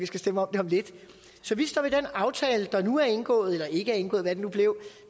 skal stemme om det om lidt så vi står ved den aftale der nu er indgået eller ikke er indgået hvad det nu blev